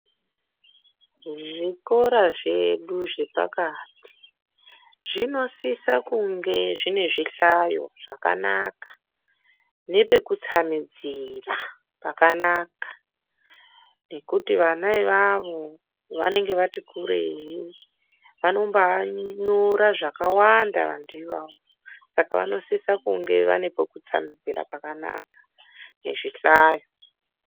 Zvikora zvedu zvepakati zvinosisa kunge zvinezvihlayo zvakanaka nepekutsamidzira pakanaka nekuti vana ivavo vanenge vati kurei vanenge vatikure vanombai nyora zvakawanda vantu ivavo saka vanosisa kungevane pekutsamidzira pakanaka ngezvihlayo.